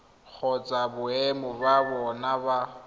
kgotsa boemo ba bona ba